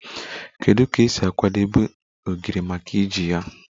Kedu ka e si akwadebe ogiri maka iji ya?